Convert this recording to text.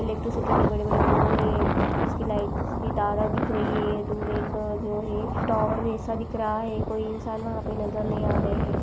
Electricity के बड़े बड़े पोल है। उसकी लाइट्स की तारे दिख रही है। दूर एक जो है टावर जैसा दिख रहा है। कोई इंसान वहाँ पे नज़र नहीं आ रहे है।